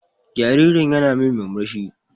Jaririn ƴana min murmushi.